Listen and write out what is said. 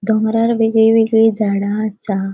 डोंगरार वेगळी वेगळी झाडा असा.